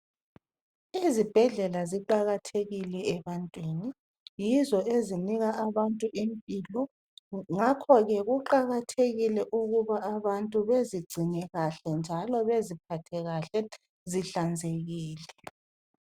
Izibhedlela ziqakathekile ebantwini yizo ezinika abantu impilo ngakho ke kuqakathekile ukuba abantu bezingcine kahle njalo beziphathe kahle zihlanzekile.